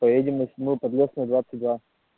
поедем на седьмая подлесная двадцать два